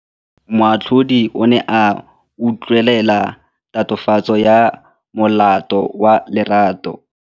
Moatlhodi o ne a utlwelela tatofatsô ya molato wa Lerato.